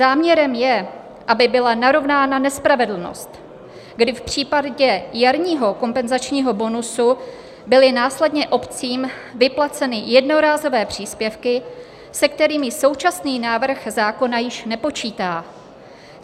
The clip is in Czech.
Záměrem je, aby byla narovnána nespravedlnost, kdy v případě jarního kompenzačního bonusu byly následně obcím vyplaceny jednorázové příspěvky, se kterými současný návrh zákona již nepočítá.